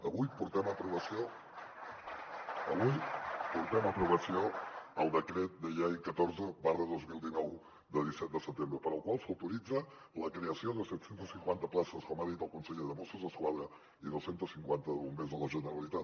avui portem a aprovació el decret llei catorze dos mil dinou del disset de setembre pel qual s’autoritza la creació de set cents i cinquanta places com ha dit el conseller de mossos d’esquadra i dos cents i cinquanta de bombers de la generalitat